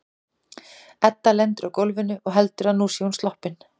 Edda lendir á gólfinu og heldur að nú sé hún sloppin.